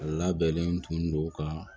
Labɛnnen tun don ka